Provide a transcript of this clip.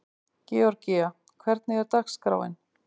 Georgía, hvernig er dagskráin?